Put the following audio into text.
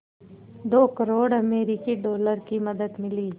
दो करोड़ अमरिकी डॉलर की मदद मिली